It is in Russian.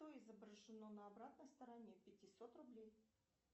что изображено на обратной стороне пятисот рублей